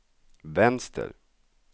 vänster